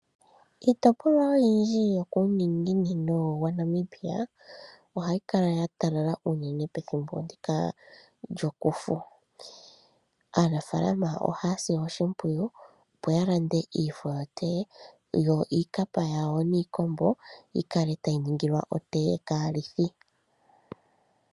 Kiitopolwa oyindji yokuuningino wa Namibia ohayi kala ya talala unene pethimbo ndika lyokufu. Aanafaalama ohaya si oshimpwiyu opo ya lande iifo yotee, yo iikapa yawo niikombo yi kale tayi ningilwa otee kaalithi.